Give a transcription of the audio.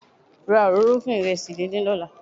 Ra òróró fún ìrẹsì díndín lọ́la.